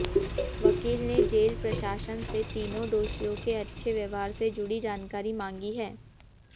वकील ने जेल प्रशासन से तीनों दोषियों के अच्छे व्यवहार से जुड़ी जानकारी मांगी है